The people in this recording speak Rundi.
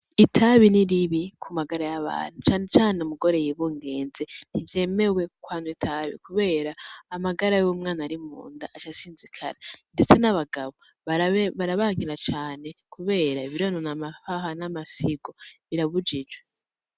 Itabi ni ribi kumagara yabantu cane cane umugore yibungenze ntivyemewe ko anwa itabi kubera amagara y'umwana arimunda aca asinzikara ndetse n'abagabo barabankira cane kubera amahaha n'amafyigo birabujijwe.